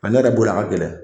An ne yɛrɛ bolo a ka gɛlɛn